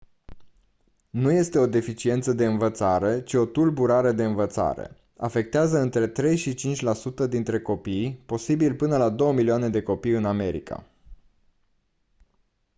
nu este o deficiență de învățare ci o tulburare de învățare; «afectează între 3 și 5 la sută dintre copii posibil până la 2 milioane de copii din america»